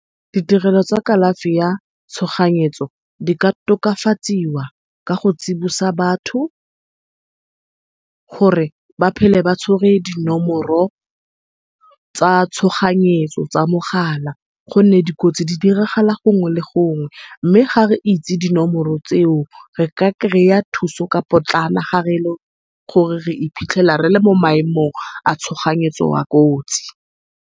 Ditirelo tsa kalafi ya tshoganyetso, di ka tokafatsiwa ka go tsibusa batho gore ba phele ba tshwere dinomoro tsa tshoganyetso tsa mogala, gonne dikotsi di diragala gongwe le gongwe. Mme ga re itse dinomoro tseo re ka kry-a thuso ka potlana, ga ele gore re iphitlhela rele mo maemomg a tshoganyetso a kotsi.